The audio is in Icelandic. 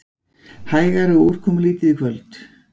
Hægari og úrkomulítið í kvöld